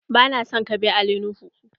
Ba na son ka bi Ali nuhu!